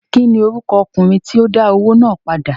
kín ni orúkọ ọkùnrin tí ó dá owó náà padà?